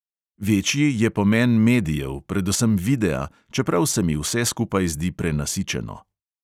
Večji je pomen medijev, predvsem videa, čeprav se mi vse skupaj zdi prenasičeno.